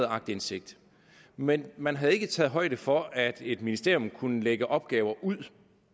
aktindsigt men man havde ikke taget højde for at et ministerium kunne lægge opgaver ud